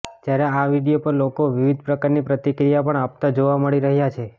જ્યારે આ વિડીયો પર લોકો વિવિધ પ્રકારની પ્રતિક્રિયા પણ આપતા જોવા મળી રહ્યા છે